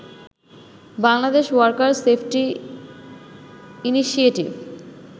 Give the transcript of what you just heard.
Bangladesh worker safety initiative”